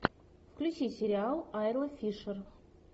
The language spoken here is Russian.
включи сериал айла фишер